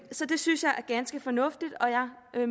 så det synes jeg er ganske fornuftigt og jeg